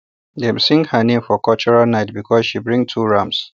dem sing her name for cultural night because she bring two rams